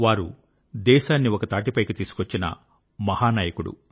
వారు దేశాన్ని ఒకతాటిపైకి తీసుకొచ్చిన మహానాయకుడు